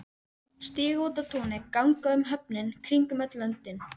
Stíga út á túnið, ganga um höfin, kringum öll löndin.